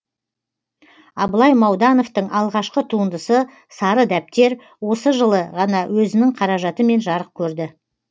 абылай маудановтың алғашқы туындысы сары дәптер осы жылы ғана өзінің қаражатымен жарық көрді